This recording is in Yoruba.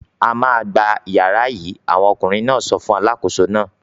"A máa gba ìyàrá yìí!" Àwọn ọkùnrin náà sọ fún alákòóso náà.